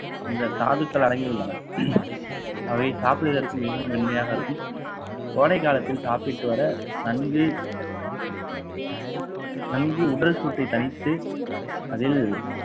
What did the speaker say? இந்த தாதுக்கள் அடங்கியுள்ளன அவை சாப்பிடுவதற்கு மிகவும் மென்மையாக இருக்கும் கோடைக்காலத்தில் சாப்பிட்டு வர நன்கு நன்கு உடல் சூட்டை தனித்து அதில்